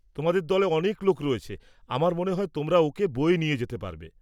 তোমাদের দলে অনেক লোক রয়েছে, আমার মনে হয় তোমরা ওঁকে বয়ে নিয়ে যেতে পারবে।